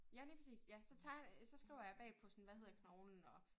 Ja lige præcis ja så tegner jeg så skriver jeg bagpå sådan hvad hedder knoglen og